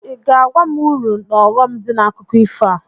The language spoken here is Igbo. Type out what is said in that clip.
Ị ga-agwa m uru n'ọghọm dị n'akụkọ ifo a?